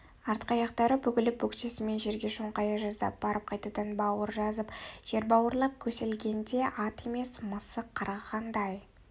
артқы аяқтары бүгіліп бөксесімен жерге шоңқая жаздап барып қайтадан бауыр жазып жер бауырлап көсілгенде ат емес мысық қарғығандай